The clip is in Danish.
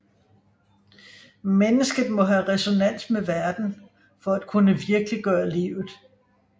Mennesket må have resonans med verden for at kunne virkeliggøre livet